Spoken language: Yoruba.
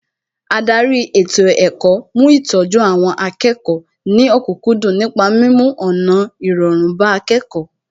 Ádárì ètò ẹ̀kọ́ mú ìtọ́jú àwọn akẹ́kọ̀ọ́ ní òkúkúndùn nípa mímú ọ̀nà irọrun bá akẹ́kọ̀ọ́